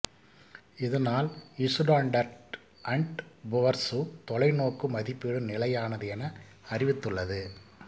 இதனால் Standard and Poor's தொலைநோக்கு மதிப்பீடு நிலையானது என அறிவித்துள்ளது